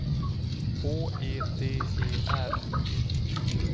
H E D E R